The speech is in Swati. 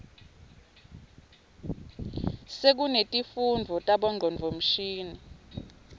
sekunetifundvo tabo ngcondvomshini